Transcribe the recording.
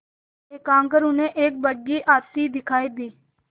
एकाएक उन्हें एक बग्घी आती दिखायी दी